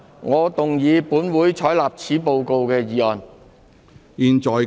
我動議"本會採納此報告"的議案。